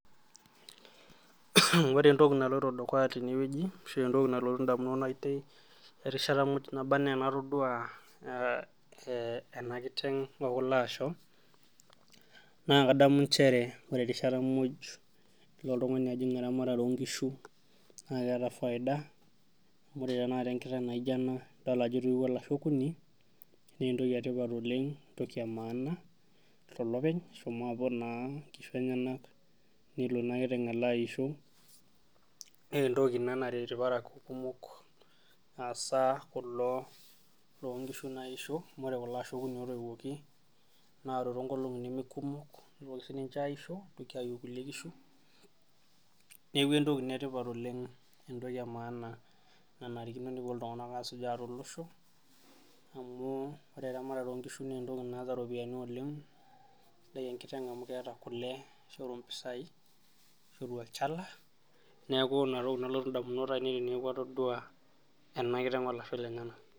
Ore entoki naloito dukuya tene ashuu entoki nalotu indamunot aainei erishata nabanaa ena kiteng okulo asho naa kadamu inchere ore erishata muj lino iltung'anak ajing eramatare oonkishu naa keeta faiida amu ore tenakata enkiteng naijio ena idol ajo etiuo ilasho okuni naa endoki etipat oleng entoki emaana tolopeny eshomo abol naa inkishu enyanak nelo ina kiteng aiu inkishu naa naa entoki naret imrparakuo kumok hasaa kulo loonkishu naishio kulo asho okuni ootoiwuoki neeku entoki etipat oleng entoki emaana nenarikino nepuo iltung'anak asujaa tolosho amu ore eramatare oonkishu naa entoki naat iropiyiani oleng sidai enkiteng amu keeta kule neishoru olchala neeku inatoki nalotu indamunot aainei